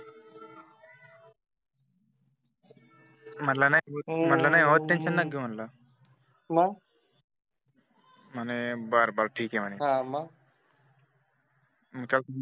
म्हटलं नाहो हो टेंशन नको घेवूत म्हटलं. मग. म्हणे बर बर ठीक आहे म्हणे. हा मग